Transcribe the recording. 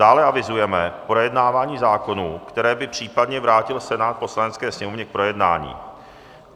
Dále avizujeme projednávání zákonů, které by případně vrátil Senát Poslanecké sněmovně k projednání.